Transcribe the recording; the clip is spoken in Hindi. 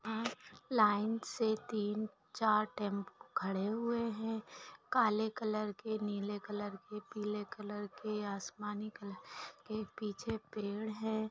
यहाँ लाइन से तीन चार टेम्पो खड़े हुए है काले कलर के नीले कलर के पीले कलर के आसमानी कलर के पीछे पेड़ है।